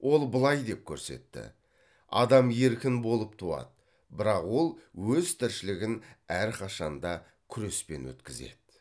ол былай деп көрсетті адам еркін болып туады бірақ ол өз тіршілігін әрқашанда күреспен өткізеді